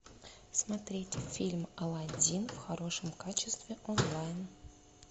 смотреть фильм алладин в хорошем качестве онлайн